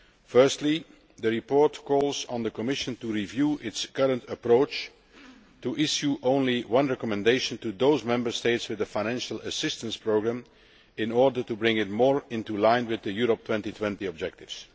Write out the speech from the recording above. Firstly, the report calls on the Commission to review its current approach and to issue only one recommendation to Member States in the financial assistance programme in order to bring it more into line with the Europe 2020 objectives.